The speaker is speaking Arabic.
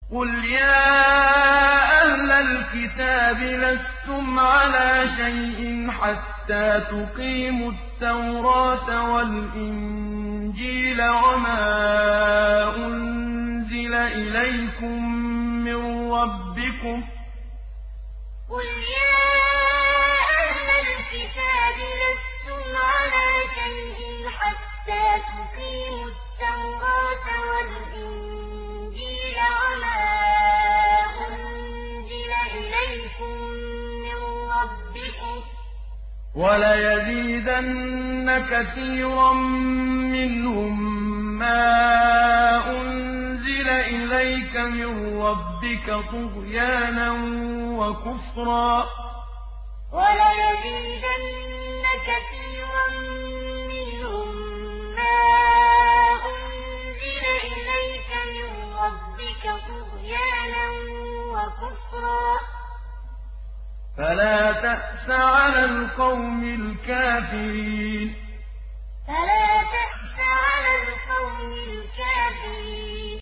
قُلْ يَا أَهْلَ الْكِتَابِ لَسْتُمْ عَلَىٰ شَيْءٍ حَتَّىٰ تُقِيمُوا التَّوْرَاةَ وَالْإِنجِيلَ وَمَا أُنزِلَ إِلَيْكُم مِّن رَّبِّكُمْ ۗ وَلَيَزِيدَنَّ كَثِيرًا مِّنْهُم مَّا أُنزِلَ إِلَيْكَ مِن رَّبِّكَ طُغْيَانًا وَكُفْرًا ۖ فَلَا تَأْسَ عَلَى الْقَوْمِ الْكَافِرِينَ قُلْ يَا أَهْلَ الْكِتَابِ لَسْتُمْ عَلَىٰ شَيْءٍ حَتَّىٰ تُقِيمُوا التَّوْرَاةَ وَالْإِنجِيلَ وَمَا أُنزِلَ إِلَيْكُم مِّن رَّبِّكُمْ ۗ وَلَيَزِيدَنَّ كَثِيرًا مِّنْهُم مَّا أُنزِلَ إِلَيْكَ مِن رَّبِّكَ طُغْيَانًا وَكُفْرًا ۖ فَلَا تَأْسَ عَلَى الْقَوْمِ الْكَافِرِينَ